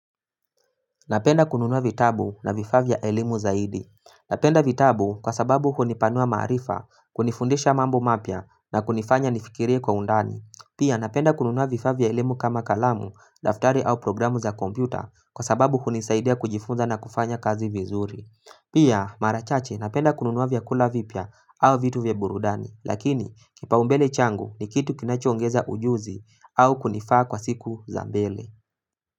Napenda kununua vitabu na vifaa vya elimu zaidi. Napenda vitabu kwa sababu hunipanua maarifa kunifundisha mambo mapya na kunifanya nifikirie kwa undani. Pia napenda kununua vifaa vya elimu kama kalamu, daftari au programu za kompyuta kwa sababu hunisaidia kujifunza na kufanya kazi vizuri. Pia mara chache napenda kununua vyakula vipya au vitu vya burudani lakini kipaumbele changu ni kitu kinachoongeza ujuzi au kunifaa kwa siku za mbele.